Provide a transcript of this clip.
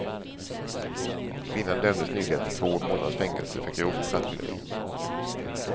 Kvinnan dömdes nyligen till två månaders fängelse för grovt rattfylleri.